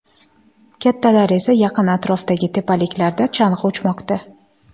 Kattalar esa yaqin atrofdagi tepaliklarda chang‘i uchmoqda.